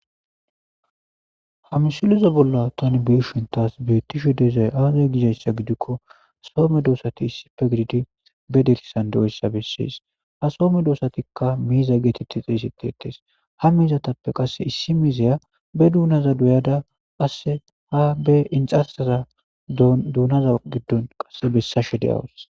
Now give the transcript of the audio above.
Ha misileza bolla thaani be7ishe thaas beethishe dizay aazee dizayssa gidikko so meedoosathi issipepe gididi ba dirssan diyaga bessees; ha so medoosathikka miiza geetheththi xeeseththes; ha mizathappe qassi issi miizziya ba doonaza dooyada qassi ha be inxxarssatha doona giddo qassi bessashe de7awus.